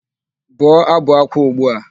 Bụọ ábụ̀ ákwá ugbu a!